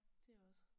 Det også